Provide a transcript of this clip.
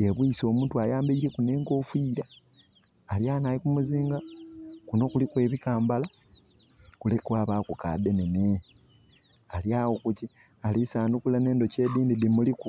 Yebwise omutwe ayambaileku ne'nkofira, alighalino ali kumuzinga kuno kuliku ebikambala kule kwabaku kadhenene ali agho alisandukula ne'ndhoki edindhi dhimuliku